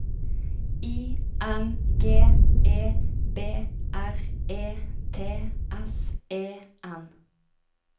I N G E B R E T S E N